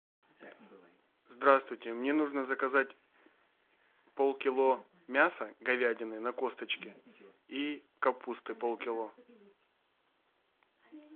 здравствуйте мне нужно заказать полкило мяса говядины на косточке и капусты полкило